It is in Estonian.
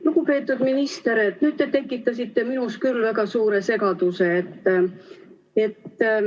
Lugupeetud minister, nüüd te tekitasite minus küll väga suure segaduse.